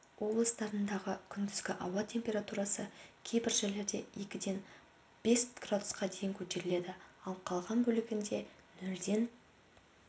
облыстарындағы күндізгі ауа температурасы кейбір жерлерде екіден бес градусқа дейін көтеріледі ал қалған бөлігінде нөлден